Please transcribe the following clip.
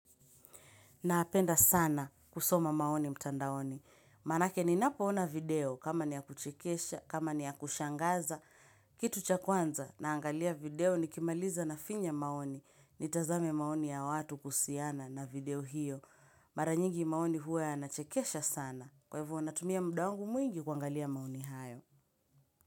Napenda sana kusoma maoni mtandaoni. Manake ninapoona video kama ni ya kuchikesha, kama ni ya kushangaza. Kitu cha kwanza naangalia video nikimaliza nafinya maoni. Nitazame maoni ya watu kusiana na video hiyo. Mara nyigi maoni huwa yanachekesha sana. Kwa hivo huwa natumia muda wangu mwingi kuangalia maoni hayo.